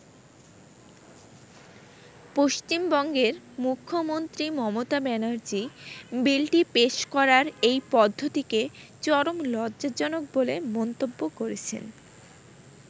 পশ্চিমবঙ্গের মুখ্যমন্ত্রী মমতা ব্যানার্জী বিলটি পেশ করার এই পদ্ধতিকে চরম লজ্জাজনক বলে মন্তব্য করেছেন।